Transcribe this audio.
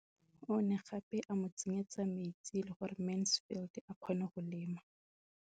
O ne gape a mo tsenyetsa metsi gore Mansfield a kgone go lema.